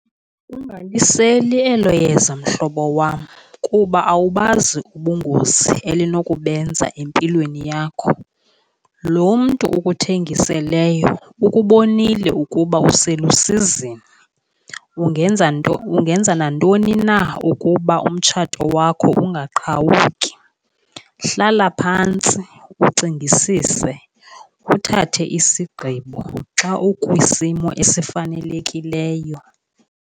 Ungaliseli elo yeza, mhlobo wam, kuba awubazi ubungozi elinobenza empilweni yakho. Loo mntu ukuthengiseleyo ukubonile ukuba uselusizini ungenza nantoni na ukuba umtshato wakho ungaqhawuki. Hlala phantsi ucingisise, uthathe isigqibo xa ukwisimo esifanelekileyo.